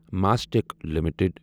mastic limited